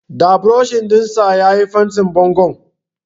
Da burosh ɗin sa ya yi fentin bangon.